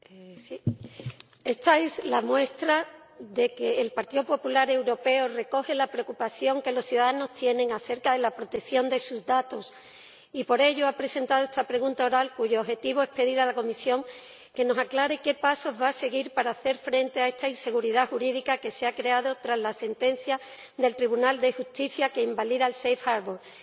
Señora Presidenta, esta es la muestra de que el Partido Popular Europeo recoge la preocupación que los ciudadanos tienen acerca de la protección de sus datos y por ello ha presentado esta pregunta oral, cuyo objetivo es pedir a la Comisión que nos aclare qué pasos va a seguir para hacer frente a la inseguridad jurídica que se ha creado tras la sentencia del Tribunal de Justicia que invalida la Decisión de puerto seguro.